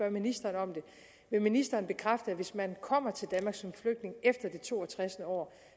ministeren om det vil ministeren bekræfte at hvis man kommer til danmark som flygtning efter det to og tres år